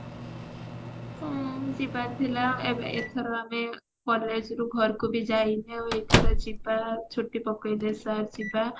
ହଁ ଯିବାର ଥିଲା ଏବେ ଏଥର ଆମେ ପଳେଈ ଆସିଲୁ ଘରକୁ ବି ଯାଇନୁ ଏଇ ଥର ଯିବା ଛୁଟି ପକେଇଲେ sir ଯିବା